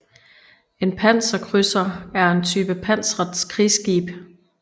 En panserkrydser er en type pansret krigsskib